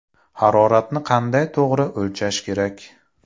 Haroratni qanday to‘g‘ri o‘lchash kerak?.